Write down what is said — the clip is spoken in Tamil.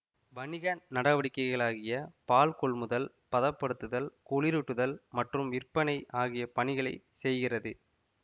வணிக நடவடிக்கைகளாகிய பால் கொள்முதல் பதப்படுத்துதல் குளிரூட்டுதல் மற்றும் விற்பனை ஆகிய பணிகளை செய்கிறது